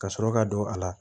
Ka sɔrɔ ka don a la